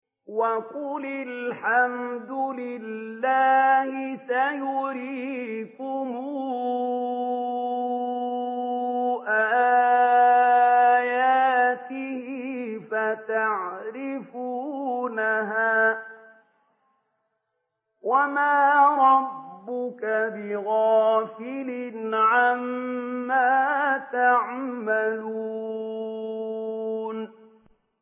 وَقُلِ الْحَمْدُ لِلَّهِ سَيُرِيكُمْ آيَاتِهِ فَتَعْرِفُونَهَا ۚ وَمَا رَبُّكَ بِغَافِلٍ عَمَّا تَعْمَلُونَ